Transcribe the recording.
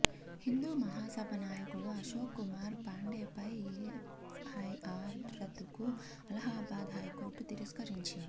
హిందూ మహాసభ నాయకుడు అశోక్ కుమార్ పాండేపై ఎఫ్ఐఆర్ రద్దుకు అలహాబాద్ హైకోర్టు తిరస్కరించింది